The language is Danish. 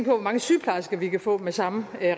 hvor mange sygeplejersker vi kan få med samme